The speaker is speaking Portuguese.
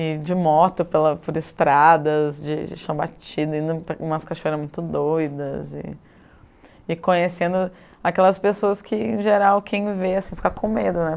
e de moto, por estradas, de chão batido, indo para umas cachoeiras muito doidas e e conhecendo aquelas pessoas que, em geral, quem vê assim, fica com medo, né?